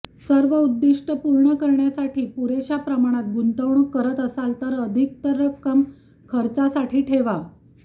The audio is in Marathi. सर्व उद्दिष्टं पूर्ण करण्यासाठी पुरेशा प्रमाणात गुंतवणूक करत असाल तर अधिकतर रक्कम खर्चासाठी ठेवा